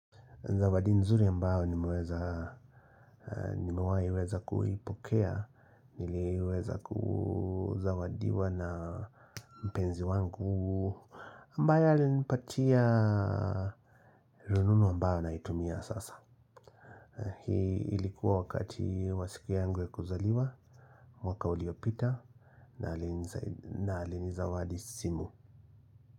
Zawadi nzuri ambao nimeweza kuipokea, nileweza kuzawadiwa na mpenzi wangu ambaye alinipatia rununu ambao naitumia sasa. Hii ilikuwa wakati wa siku yangu ya kuzaliwa, mwaka uliopita na alinizawadi simu.